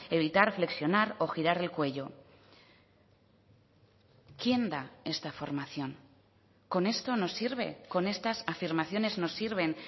evitar flexionar o girar el cuello quién da esta formación con esto nos sirve con estas afirmaciones nos sirven